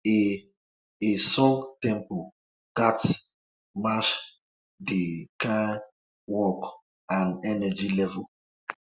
a a song tempo ghats match de kyn work and energy level